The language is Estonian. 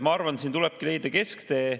Ma arvan, et tuleb leida kesktee.